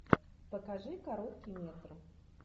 покажи короткий метр